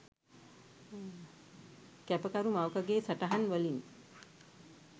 කැපකරු මවකගේ සටහන් වලින්..